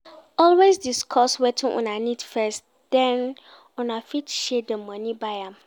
Always discuss wetin Una need first then una fit share di money buy am